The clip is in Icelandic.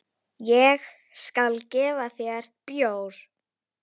Ég skal gefa þér bjór.